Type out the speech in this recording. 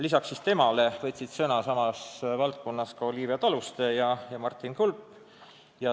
Lisaks temale võtsid sõna Olivia Taluste ja Martin Kulp.